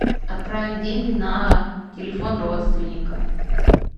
отправить деньги на телефон родственника